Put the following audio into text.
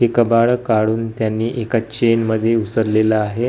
हे कबाड काढून त्यांनी एका चेन मध्ये विसरलेलं आहे .